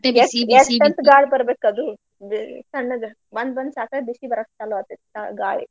ಎಷ್ಟಂತ್ ಗಾಳ್ ಬರ್ಬೇಕದು ದ್~ ತಣ್ಣಗ್ ಬಂದ್ ಬಂದ್ ಸಾಕಾಗ್ ಬಿಸಿ ಬರಾಕ್ ಚಾಲೂ ಆಕತ್ ಚಾ~ ಗಾಳಿ.